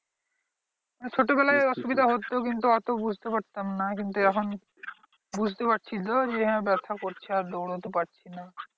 ছোটবেলায় অসুবিধা হতো কিন্তু অত বুঝতে পারতাম না কিন্তু এখন বুঝতে পারছি তো যে হ্যাঁ ব্যাথা করছে আর দৌড়োতে পারছি না।